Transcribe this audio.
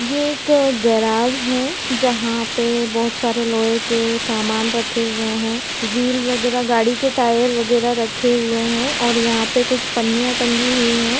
ये एक गेराज है जहा पे बहोत सारे लोहे के सामान रखे हुए है। व्हील वगेरा गाड़ी के टायर वगेरा रखे हुए है और यहा पे कुछ पननिया टँगी हुई है।